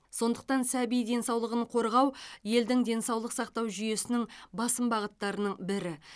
сондықтан сәби денсаулығын қорғау елдің денсаулық сақтау жүйесінің басым бағыттарының бірі